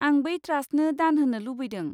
आं बै ट्रास्टनो दान होनो लुबैदों।